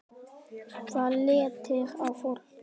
Það léttir á fólki.